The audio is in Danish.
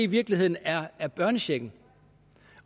virkeligheden er er børnechecken